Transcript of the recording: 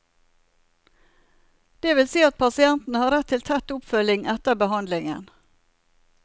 Det vil si at pasienten har rett til tett oppfølging etter behandlingen.